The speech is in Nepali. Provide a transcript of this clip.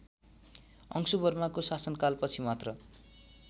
अंशुवर्माको शासनकालपछि मात्र